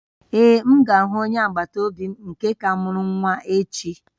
Ee, m ga-ahụ onye agbata obi m nke ka mụrụ nwa echi